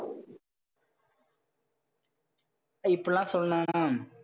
இப்படி எல்லாம் சொல்லணும் அஹ் அஹ்